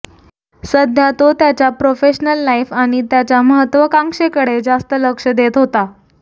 सध्या तो त्याच्या प्रोफेशनल लाईफ आणि त्याच्या महत्वाकांक्षेकडे जास्त लक्ष देत होता